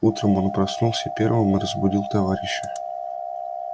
утром он проснулся первым и разбудил товарища